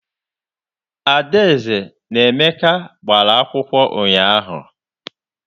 Adaeze na Emeka gbara akwụkwọ unyaahụ.